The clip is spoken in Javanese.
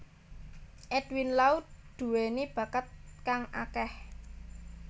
Edwin Lau duweni bakat kang akeh